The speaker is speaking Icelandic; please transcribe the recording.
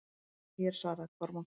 Hún er hér, svaraði Kormákur.